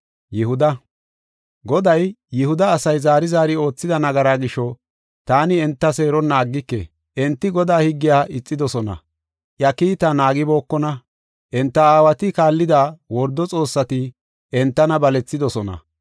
Goday, “Yihuda asay zaari zaari oothida nagaraa gisho, taani enta seeronna aggike. Enti Godaa higgiya ixidosona; iya kiitaa naagibookona. Enta aawati kaallida wordo xoossati entana balethidosona.